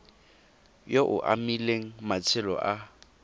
yo o amileng matshelo a